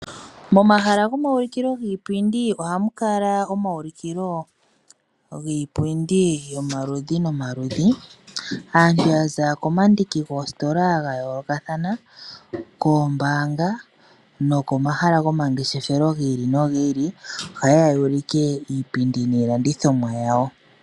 Momahala gomayulukilo giipindi ohamu kala iipindi yayooloka. Aantu yaza komandiki goositola dhayoolokathana, koombanga nokomahala gomangeshefelo gi ili nogi ili ohaye ya yuulike iipindi niilandithomwa yawo.